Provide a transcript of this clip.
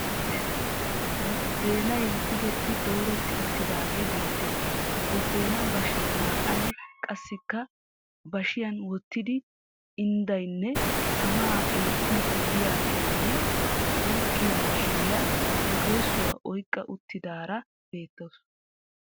Buddeenay tigetti dooretti uttidaagee beettes. Buddeenaa bashe naa"ay qassikka bashiyan wottidi inddayinne tamaa eettiiddi diyagenne uukkiya mishiriya bukeeessuwa oyikka uttidaara beettawusu.